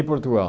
Em Portugal.